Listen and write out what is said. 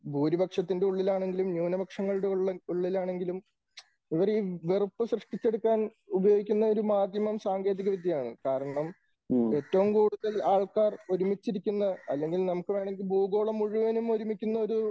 ഭൂരിപക്ഷത്തിന്റെ ഉള്ളിലാണെങ്കിലും ന്യൂനപക്ഷങ്ങളുടെ ഉള്ളിൽ ആണെങ്കിലും ഇവർ ഈ വെറുപ്പ് സൃഷ്ടിച്ച് എടുക്കാൻ ഉപയോഗിക്കുന്ന ഒരു മാധ്യമം സാങ്കേതിക വിദ്യയാണ്. കാരണം ഏറ്റവും കൂടുതൽ ആൾക്കാർ ഒരുമിച്ചിരിക്കുന്ന അല്ലെങ്കിൽ നമുക്ക് വേണമെങ്കിൽ ഭൂഗോളം മുഴുവനും ഒരുമിക്കുന്ന ഒരു